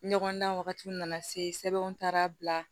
Ɲɔgɔndan wagatiw nana se sɛbɛn taara bila